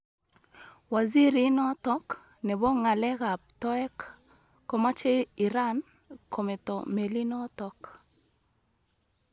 Waziri inotok nebo ng'alekab toek komache Iran kometo melinotok